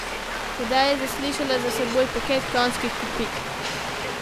Tedaj je zaslišala za seboj peket konjskih kopit.